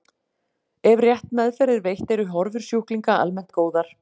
Ef rétt meðferð er veitt eru horfur sjúklinga almennt góðar.